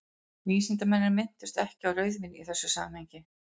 vísindamennirnir minntust ekki á rauðvín í þessu samhengi